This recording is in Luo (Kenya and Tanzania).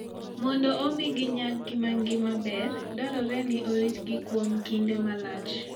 Mondo omi ginyag ngimagi maber, dwarore ni oritgi kuom kinde malach.